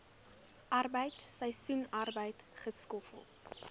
arbeid seisoensarbeid skoffel